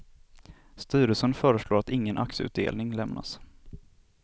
Styrelsen föreslår att ingen aktieutdelning lämnas.